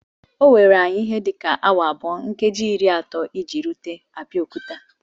O were anyi ihe dị ka awa abụọ nkeji iri atọ iji rute Abeokuta